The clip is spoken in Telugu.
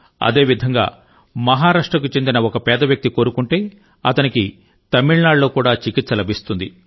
అదేవిధంగా మహారాష్ట్రకు చెందిన ఒక పేద వ్యక్తి కోరుకుంటే అతనికి తమిళనాడులో కూడా అదే చికిత్స లభిస్తుంది